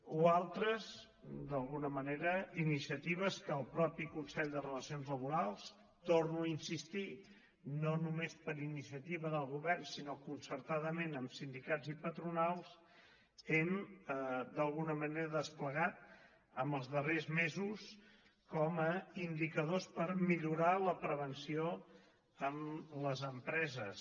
o altres d’alguna manera iniciatives que el mateix consell de relacions laborals hi torno a insistir no només per iniciativa del govern sinó concertadament amb sindicats i patronals hem d’alguna manera desplegat en els darrers mesos com a indicadors per millorar la prevenció amb les empreses